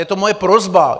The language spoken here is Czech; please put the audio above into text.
Je to moje prosba.